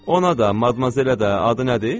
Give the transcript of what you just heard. Ona da, Madmazelə də, adı nədir?